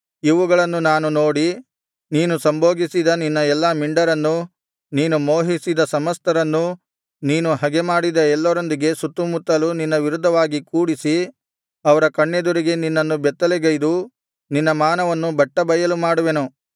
ಇವುಗಳನ್ನು ನಾನು ನೋಡಿ ನೀನು ಸಂಭೋಗಿಸಿದ ನಿನ್ನ ಎಲ್ಲಾ ಮಿಂಡರನ್ನೂ ನೀನು ಮೋಹಿಸಿದ ಸಮಸ್ತರನ್ನೂ ನೀನು ಹಗೆಮಾಡಿದ ಎಲ್ಲರೊಂದಿಗೆ ಸುತ್ತುಮುತ್ತಲು ನಿನ್ನ ವಿರುದ್ಧವಾಗಿ ಕೂಡಿಸಿ ಅವರ ಕಣ್ಣೆದುರಿಗೆ ನಿನ್ನನ್ನು ಬೆತ್ತಲೆಗೈದು ನಿನ್ನ ಮಾನವನ್ನು ಬಟ್ಟಬಯಲು ಮಾಡುವೆನು